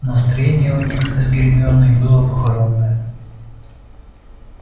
настроение у них с гермионой было похоронное